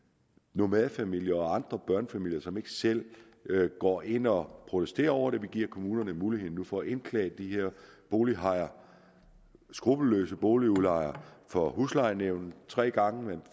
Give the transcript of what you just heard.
nomadefamilier og andre børnefamilier som ikke selv går ind og protesterer over det vi giver nu kommunerne muligheden for at indklage de her bolighajer skruppelløse boligudlejere for huslejenævnet tre gange